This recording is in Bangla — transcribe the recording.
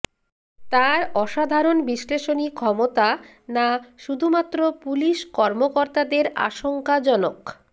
তাঁর অসাধারণ বিশ্লেষণী ক্ষমতা না শুধুমাত্র পুলিশ কর্মকর্তাদের আশংকাজনক